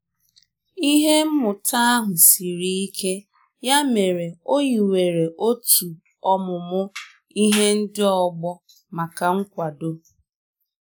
Otu enyi m kpọrọ echi gara a ga ka ọ mara otu m si n'ejikwa usoro ihe omume ọhụrụ ahụ.